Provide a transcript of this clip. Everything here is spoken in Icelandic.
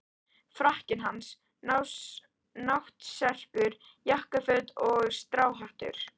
Frakkinn hans, náttserkur, jakkaföt og stráhattur.